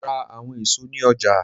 Mo ra awọn eso ni ọja.